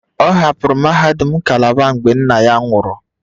Ọ hapụrụ mahadum Calabar mgbe nna ya nwụrụ